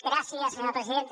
gràcies senyora presidenta